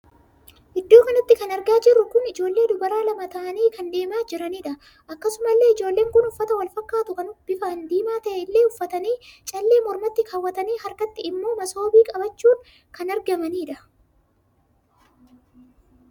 Iddoo kanatti kan argaa jiruu kun ijoollee dubaraa lama ta'anii kan deemaa jiranidha. akkasuma illee ijoolleen kun uffataa Wal fakkaatu kan bifaan diimaa ta'e illee iffataanii callee mormatii kaawwatanii harkatti immoo masoobii qabachuun kan argamanidha.